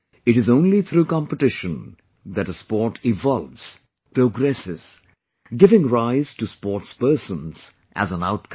It is only through competition that a sport evolves...progresses...giving rise to sportspersons as an outcome